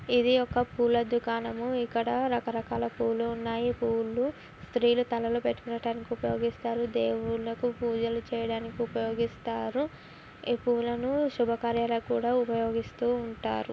ఇది ఒక పూల దుఖనము ఇక్కడ రకరకాల పూలు ఉన్నాయి పూలు స్త్రీలు తలలో పెట్టుకోటానికి ఉపయోగిస్తారు దేవునికి పూజలు చేయడానికి ఉపయోగిస్తారు ఇ పూలను శుభకార్యాలకు కూడా ఉపయోగుస్తు ఉంటారు.